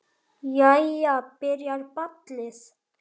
Jæja. byrjar ballið!